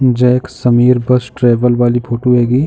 जो एक Sameer bus travel वाली फोटो हेगी।